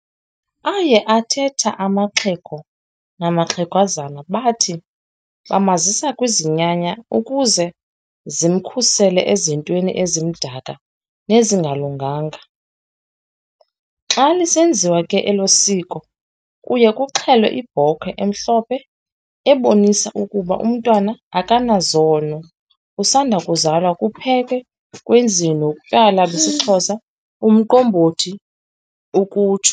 Aye athethe amaxhego namaxhagwazana bathi 'bamazisa kwizinyanya ukuze zimkhusele ezintweni ezimdaka nezingalunganga'. Xa lisenziwa ke elisiko kuye kuxhelwe ibhokhwe emhlophhe ebonisayo ukuba umntwana akanazono, usasandokuzalwa kuphekwe, kwenziwe notywala besixhosa umqombothi ke ukutsho .